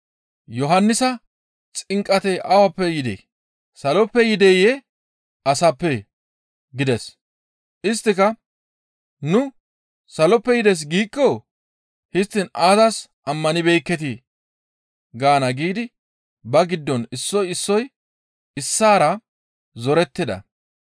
Yohannisa xinqatay awappe yidee? Saloppe yideyee? Asappee?» gides. Isttika, «Nu, ‹Saloppe yides› giikko, ‹Histtiin aazas ammanibeekketii?› gaana giidi ba giddon issoy issoy issaara zorettida.